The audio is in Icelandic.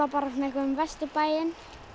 um Vesturbæinn